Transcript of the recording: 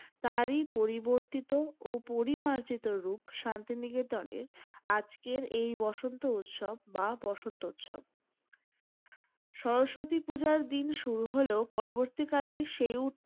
তারই পরিবর্তিত ও পরিমার্জিত রূপ শান্তি নিকেতনের. আজকের এই বসন্ত উৎসব বা বসন্ত উৎসব। শরস্বতী পূজার দিন শুরু হলেও পরবর্তীকালেই সেই